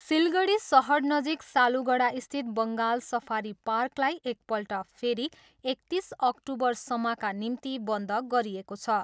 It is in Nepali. सिलगढी सहरनजिक सालुगडास्थित बङ्गाल सफारी पार्कलाई एकपल्ट फेरि एकतिस अक्टुबरसम्मका निम्ति बन्द गरिएको छ।